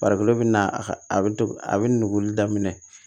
Farikolo bɛ na a ka a bɛ a bɛ nugu daminɛ